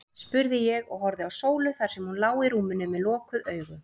spurði ég, og horfði á Sólu þar sem hún lá í rúminu með lokuð augu.